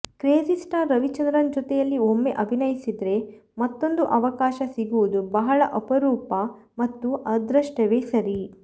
Crazy Star Ravichandran ಜೊತೆಯಲ್ಲಿ ಒಮ್ಮೆ ಅಭಿನಯಿಸಿದ್ರೆ ಮತ್ತೊಂದು ಅವಕಾಶ ಸಿಗುವುದು ಬಹಳ ಅಪರೂಪ ಮತ್ತು ಅದೃಷ್ಟವೇ ಸರಿ